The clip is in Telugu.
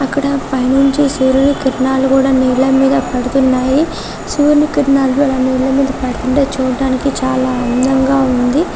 అక్కడ పైనుంచి సూర్యుని కిరణాలు కూడా నీళ్ళ మీద పడుతున్నాయి సూర్యుని కిరణాలు అలా నీళ్ళ మీద పడుతుంటే చూడ్డానికి చాలా అందంగా ఉంది